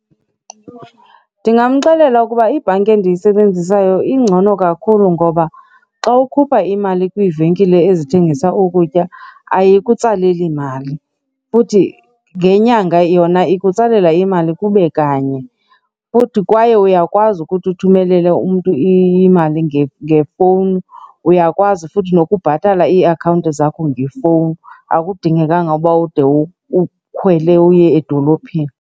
Ndingamxelela ukuba ibhanki endiyisebenzisayo ingcono kakhulu ngoba xa ukhupha imali kwiivenkile ezithengisa ukutya ayikutsaleli mali futhi ngenyanga yona ikutsalela imali kube kanye. Futhi kwaye uyakwazi ukuthi uthumelele umntu imali ngefowuni, uyakwazi futhi nokubhatala iiakhawunti zakho ngefowuni. Akudingekanga uba ude ukhwele uye edolophini.